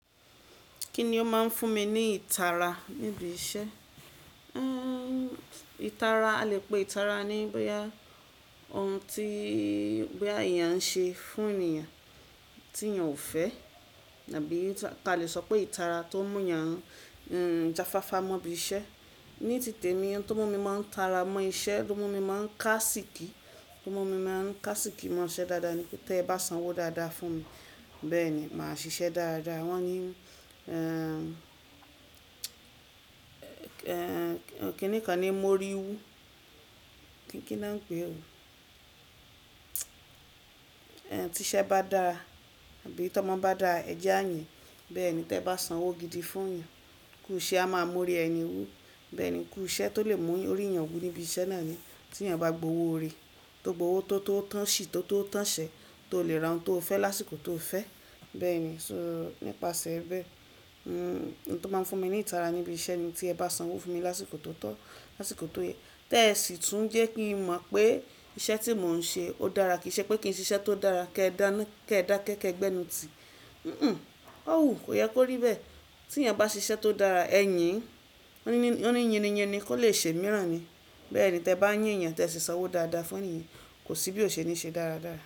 Kí ni ó máa ń fún mi ní ìtara níbi iṣẹ́? Èèì ìtara, a lè pè ìtara ní bóyá ohun tí bóyá èèyàn ń ṣe fún ènìyàn tí èèyàn ò fẹ́ tàbí ta lè sọ pé ìtara tó mú èèyàn jáfáfá mọ́ ibi iṣẹ́. Ní tì temi ohun tó mú mi máa ń tara mọ́ iṣẹ́, tó mú mi máa ń kásìkì, tó mú mi máa ń kásìkì mọ́ iṣẹ́ dáadáa ni pé tẹ bá sanwó dáadáa fún mi, bẹ́ẹ̀ ni màá ṣiṣẹ́ dáadáa. Wọ́n ní èèè kínnìkan ni mo rí wú. Kín na ń pè o? Ẹn, tí iṣẹ́ bá dára tàbí tí ọmọ bá dára, ẹ̀jẹ́ àyìn, bẹ́ẹ̀ ni. Tí ẹ bá sanwó gidi fún èèyàn, kuṣe a máa móri ẹni wú. Bẹ́ẹ̀ ni, kuṣẹ́ tó lè mú orí èèyàn wú níbi iṣẹ́ náà ni. Tí èèyàn bá gbowó ó rèé, tó gbowó tó tó tán ṣì, tó tó tán ṣẹ, tó lè ra ohun tó fẹ́ lásìkò tó fẹ́. Bẹ́ẹ̀ ni. So nípasẹ̀ bẹ́ẹ̀, ohun tó máa ń fún mi ní ìtara ní ibi iṣẹ́ ni tí ẹ bá sanwó fún mi lásìkò tó tọ́, lásìkò tó yẹ. Tẹ́ ẹ sì tún jẹ́ kí n mọ̀ pé iṣẹ́ tí mò ń ṣe ó dára. Kì í ṣe pé kí n ṣiṣẹ́ tó dára kí ẹ dánú, kí ẹ dákẹ́ kẹ́ gbẹ́nu ti. Hmn, ó wùú, kò yẹ kó rí bẹ́ẹ̀. Tí èèyàn bá ṣe iṣẹ́ tó dára, ẹyin, wọnnì, wọnnì yínniyinni kò lè ṣe imìíràn ni. Bẹ́ẹ̀ ni. Tẹ bá yín èèyàn tẹ si sanwó dáadáa fún ẹniyẹn, kò sí bí o ṣe ní ṣe dáradára.